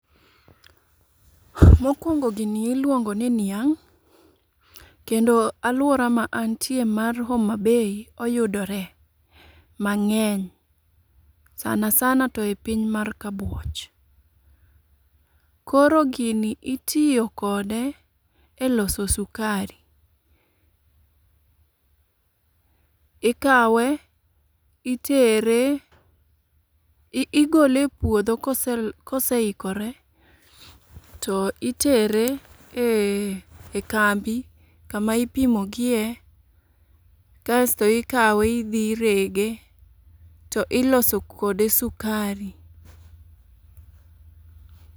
Mokwongo gini iluongo ni niang', kendo alwora ma anitie mar Homa Bay oyudore mang'eny, sana sana to e piny mar Kabuoch. Koro gini itiyo kode e loso sukari. Ikawe, itere, igole e puodho kose ikore, to itere e kambi kama ipimogie. Kasto ikawe idhi irege to iloso kode sukari.